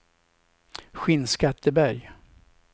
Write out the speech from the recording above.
Skinnskatteberg